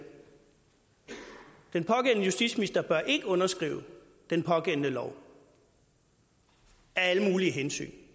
den pågældende justitsminister ikke burde underskrive den pågældende lov af alle mulige hensyn